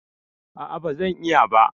A'a, ba zan iya ba